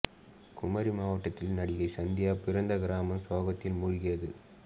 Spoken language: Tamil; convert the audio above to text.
குமரி மாவட்டத்தில் நடிகை சந்தியா பிறந்த கிராமம் சோகத்தில் மூழ்கியது